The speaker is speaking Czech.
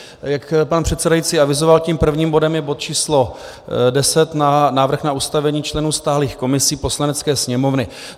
Jak pan předsedající avizoval, tím prvním bodem je bod číslo 10 Návrh na ustavení členů stálých komisí Poslanecké sněmovny.